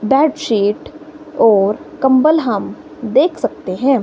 Bedsheet और कंबल हम देख सकते हैं।